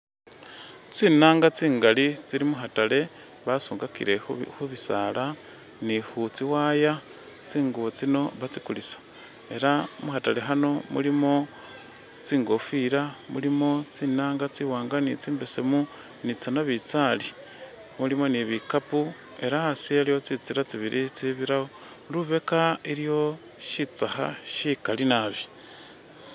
Tsi'naanga tsingaali tsili mu khataale basungakile khubi khubisaala ni khu tsi'wire tdinguubo tduno batsikuliisa ela mukhataale khano mulimo tsingofila, mulimo tsi'naanga tsiwaanga ni tsimbesaemu ni tsa'nabitsali mulimo ni bikaapo ela asi e iliwo tsitsila tsibaili itsibiraawo ,lubeeka iliyo shitsakha shikaali naabi